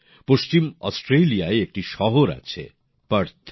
পশ্চিম অস্ট্রেলিয়ায় একটি শহর আছে পার্থ